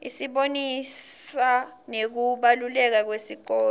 isibonisa nekubaluleka kwesikolo